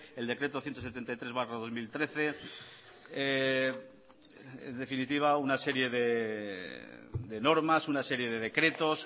el decreto ciento setenta y tres barra dos mil trece en definitiva una serie de normas una serie de decretos